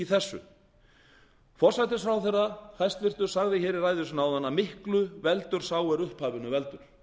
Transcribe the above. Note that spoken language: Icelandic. þessu hæstvirtur forsætisráðherra sagði í ræðu sinni áðan að miklu veldur sá er upphafinu veldur